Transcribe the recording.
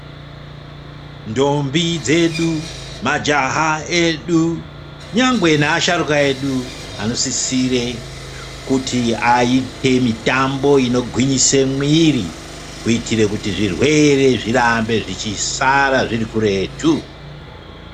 Ntombi dzedu, majaha edu nyangwe neasharuka edu anosisire kuti aite mitambo inogwinyise muwiri kuitire kuti zvirwere zvirambe zvichisara zviri kuretu.